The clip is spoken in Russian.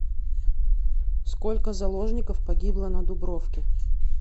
сколько заложников погибло на дубровке